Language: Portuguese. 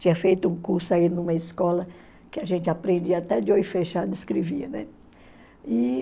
Tinha feito um curso aí numa escola que a gente aprendia até de olho fechado escrevia, né?